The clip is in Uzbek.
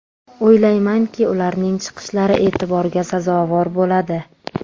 O‘ylaymanki, ularning chiqishlari e’tiborga sazovor bo‘ladi.